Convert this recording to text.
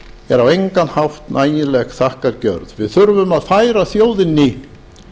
er á engan hátt nægileg þakkargjörð við þurfum að færa þjóðinni